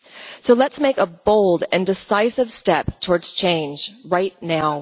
So let us make a bold and decisive step towards change right now.